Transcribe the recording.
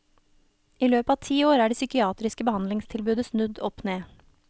I løpet av ti år er det psykiatriske behandlingstilbudet snudd opp ned.